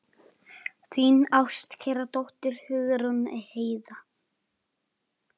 Þín ástkæra dóttir, Hugrún Heiða.